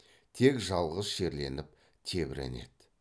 тек жалғыз шерленіп тебіренеді